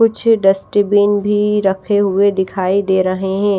कुछ डस्टबीन भी रखे हुए दिखाई दे रहे है।